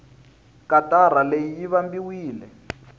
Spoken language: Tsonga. katara leyi yi vambiwile